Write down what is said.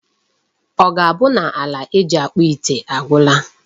Ọ ga-abụ na aja eji akpụ ite agwụla?